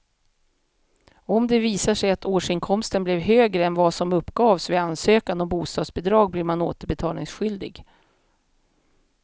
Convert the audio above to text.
Om det visar sig att årsinkomsten blev högre än vad som uppgavs vid ansökan om bostadsbidrag blir man återbetalningsskyldig.